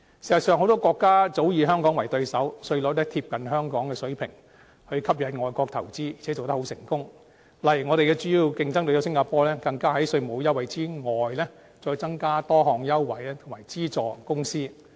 事實上，很多國家早以香港為對手，稅率貼近香港的水平，以吸引外國投資，而且做得很成功，例如我們主要的競爭對手新加坡，更在稅務優惠之外，增加多項優惠及資助公司。